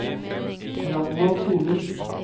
Ragnvald Solum